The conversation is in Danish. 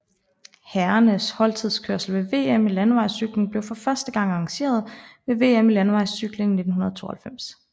Herrernes holdtidskørsel ved VM i landevejscykling blev for første gang arrangeret ved VM i landevejscykling 1962